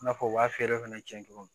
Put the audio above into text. I n'a fɔ u b'a feere fana cɛ cogo min